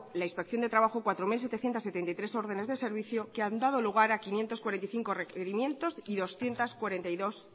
la inspección de trabajo cuatro mil setecientos setenta y tres órdenes de servicio que han dado lugar a quinientos cuarenta y cinco requerimientos y doscientos cuarenta y dos